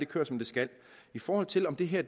kører som det skal i forhold til om det her